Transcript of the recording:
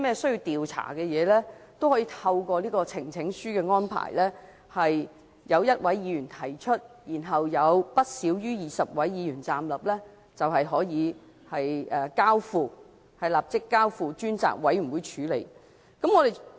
如有任何冤情或需要調查的事情，也可由1位議員提交呈請書，得到不少於20位議員站立支持後，便可立即交付專責委員會處理。